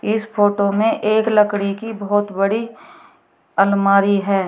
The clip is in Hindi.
इस फोटो में एक लकड़ी की बहोत बड़ी अलमारी है।